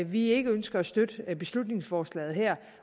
vi ikke ønsker at støtte beslutningsforslaget her